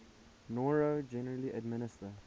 noro generally administer